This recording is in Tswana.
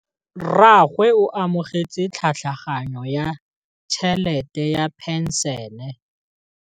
Rragwe o amogetse tlhatlhaganyô ya tšhelête ya phenšene.